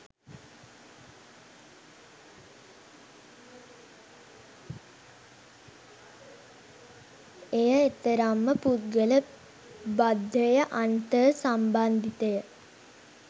එය එතරම්ම පුද්ගල බද්ධය අන්තර් සම්බන්ධිතය